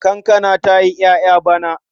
Kankana ta yi ƴaƴa bana.